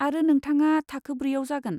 आरो नोंथाङा थाखो ब्रैआव जागोन।